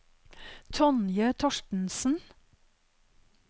Tonje Thorstensen